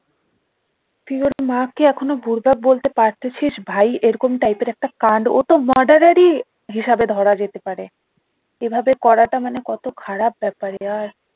তুই ওর মা কে এখনো বলতে পারতেছিস ভাই এরকম type এর একটা কান্ড ও তো murder রই হিসাবে ধরা যেতে পারে এভাবে করাটা কত খারাপ ব্যাপার ইয়ার